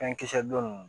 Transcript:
Fɛn kisɛ don nunnu